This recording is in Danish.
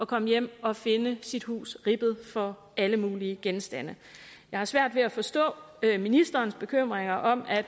komme hjem og finde sit hus ribbet for alle mulige genstande jeg har svært ved at forstå ministerens bekymringer om at